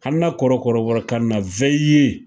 Hana kɔrɔ kɔrɔbɔrɔ kan na